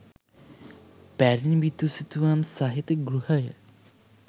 පැරණි බිතුසිතුවම් සහිත ගෘහය